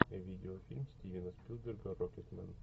видеофильм стивена спилберга рокетмен